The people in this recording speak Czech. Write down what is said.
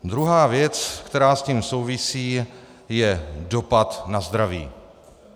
Druhá věc, která s tím souvisí, je dopad na zdraví.